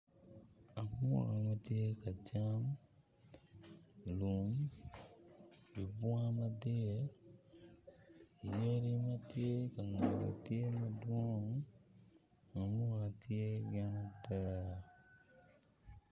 Amuka ma tye ka cam i lum i bunga madit yadi ma tye ka ngette tye madwong amuka tye gin adek